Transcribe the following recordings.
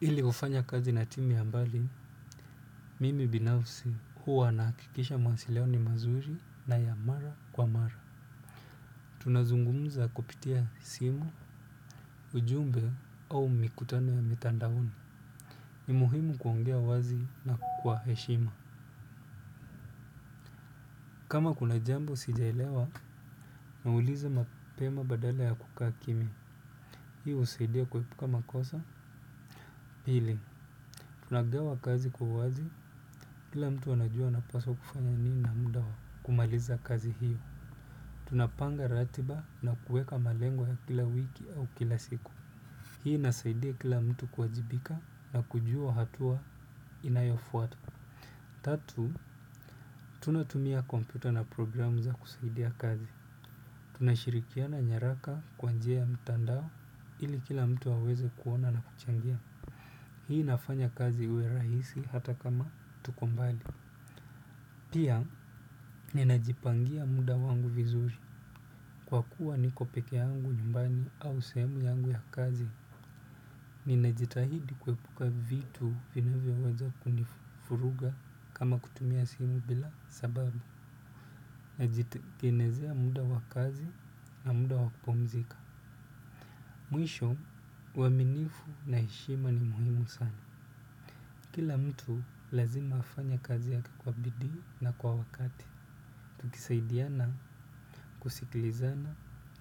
Ili hufanya kazi na timu ya mbali, mimi binafsi huwa nahakikisha mawasiliano ni mazuri na ya mara kwa mara. Tunazungumza kupitia simu ujumbe au mikutano ya mitandaoni. Ni muhimu kuongea wazi na kukwa heshima. Kama kuna jambo sijaelewa nauliza mapema badala ya kukaa kimya. Hii husaidia kuepuka makosa. Pili, tunagawa kazi kwa uwazi, kila mtu anajua anapaswa kufanya nini na muda wa kumaliza kazi hiyo. Tunapanga ratiba na kueka malengo ya kila wiki au kila siku. Hii inasaidia kila mtu kuwajibika na kujua hatua inayofuatu. Tatu, tunatumia kompyuta na programu za kusaidia kazi. Tunashirikiana nyaraka kwa njia ya mtandao ili kila mtu aweze kuona na kuchangia. Hii inafanya kazi iwe rahisi hata kama tuko mbali. Pia, ninajipangia muda wangu vizuri. Kwa kuwa niko peke yangu nyumbani au sehemu yangu ya kazi, ninajitahidi kuepuka vitu vinavyoweza kunifuruga kama kutumia simu bila sababu. Najitikenezea muda wa kazi na muda wa kupumzika. Mwisho, uaminifu na heshima ni muhimu sana. Kila mtu lazima afanye kazi yake kwa bidii na kwa wakati. Tukisaidiana, kusikilizana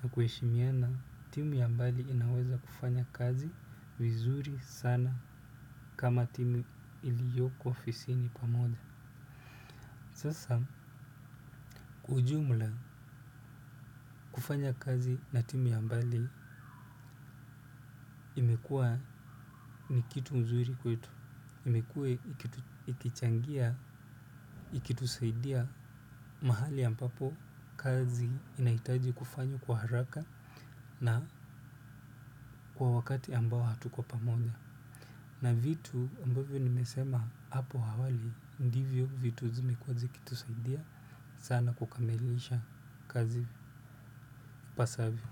na kuheshimiana. Timu ya mbali inaweza kufanya kazi vizuri sana kama timu iliyoko ofisini pamoja. Sasa kwa ujumla kufanya kazi na timu ya mbali imekua ni kitu nzuiri kwetu. Imekue ikichangia, ikitusaidia mahali ambapo kazi inaitaji kufanywa kwa haraka na kwa wakati ambao hatuko pamoja. Na vitu ambavyo nimesema hapo hawali ndivyo vitu zimekua zikitusaidia sana kukamilisha kazi ipasavyo.